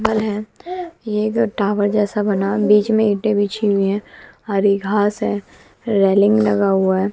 हैं एक टावर जैसा बना बीच में इटे बिछी हुई है हरी घास है रेलिंग लगा हुआ है।